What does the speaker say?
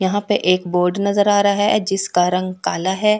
यहां पे एक बोर्ड नजर आ रहा है जिसका रंग काला है।